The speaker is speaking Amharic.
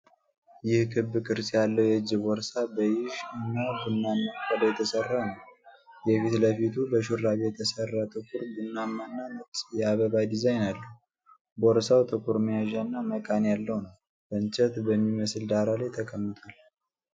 ይህ ክብ ቅርጽ ያለው የእጅ ቦርሳ በይዥ እና ቡናማ ቆዳ የተሰራ ነው፣ የፊት ለፊቱ በሹራብ የተሰራ ጥቁር፣ ቡናማና ነጭ የአበባ ዲዛይን አለው። ቦርሳው ጥቁር መያዣና መቃን ያለው ነው፣ በእንጨት በሚመስል ዳራ ላይ ተቀምጧል።